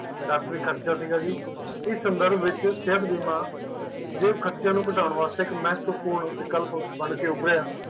ਡਕਟੋਰੀ ਖਰਚਾ ਸੀਗਾ ਸੀ ਇਸ ਸੰਧਰਬ ਵਿੱਚ ਸੇਹਤ ਬੀਮਾ ਜੇਬ ਖਰਚਿਆਂ ਨੂੰ ਘਟਾਉਣ ਵਾਸਤੇ ਇੱਕ ਮਹਤਪੁਰਨ ਵਿਕਲਪ ਬਨ ਕੇ ਉਭਰਿਆ